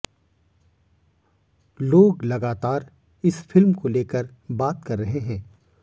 लोग लगातार इस फिल्म को लेकर बात कर रहे हैं